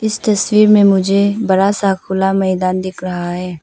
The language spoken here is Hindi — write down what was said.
इस तस्वीर में मुझे बड़ा सा खुला मैदान दिख रहा है।